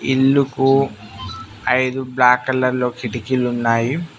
ఇల్లుకు ఐదు బ్లాక్ కలర్లో కిటికీలున్నాయి.